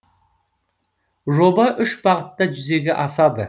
жоба үш бағытта жүзеге асады